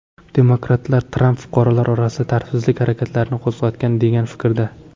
Demokratlar Tramp fuqarolar orasida tartibsizlik harakatlarini qo‘zg‘atgan degan fikrda.